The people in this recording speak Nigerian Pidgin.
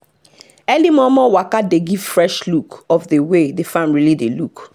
early momo waka dey give fresh look of the way the farm really dey look